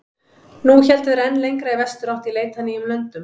Nú héldu þeir enn lengra í vesturátt í leit að nýjum löndum.